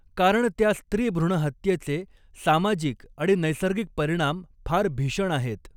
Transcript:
कारण त्या स्त्री भ्रूणहत्येचे सामाजिक आणि नैसर्गिक परिणाम फार भीषण आहेत.